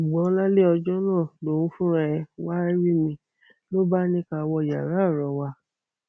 ṣùgbọn lálẹ ọjọ náà lòun fúnra ẹ wàá rí mi ló bá ní ká wọ yàrá ọrọ wa